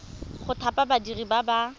go thapa badiri ba ba